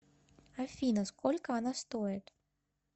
афина сколько она стоит